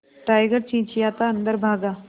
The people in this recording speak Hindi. टाइगर चिंचिंयाता अंदर भागा